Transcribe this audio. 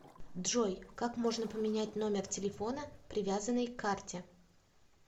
джой как можно поменять номер телефона привязанный к карте